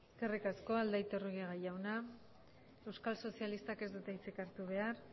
eskerrik asko aldaiturriaga jauna euskal sozialistak ez dute hitzik hartu behar